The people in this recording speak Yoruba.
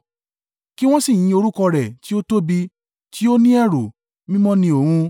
Kí wọ́n sì yin orúkọ rẹ̀ tí ó tóbi tí ó ni ẹ̀rù, Mímọ́ ni Òun.